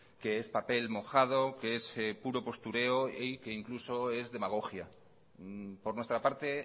que es papel mojado que es puro postureo y que incluso es demagogia por nuestra parte